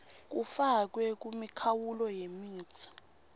kufakwe kumikhawulo yemitsi